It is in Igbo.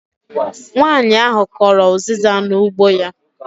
Nwanyi ahụ kọrọ uziza n'ugbo ya